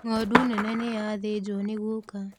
Ng'ondu nene niyathĩnjũo nĩ guka.